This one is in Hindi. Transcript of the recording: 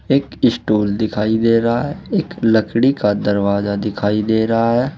एक स्टॉल दिखाई दे रहा है। एक लकड़ी का दरवाजा दिखाई दे रहा है।